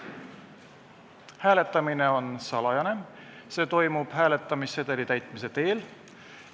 Hääletamine on salajane, see toimub hääletamissedeli täitmise teel.